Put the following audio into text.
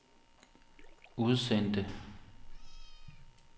udsendte